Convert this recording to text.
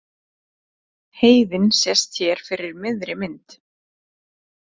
Heiðin sést hér fyrir miðri mynd.